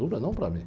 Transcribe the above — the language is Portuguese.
Dura não para mim.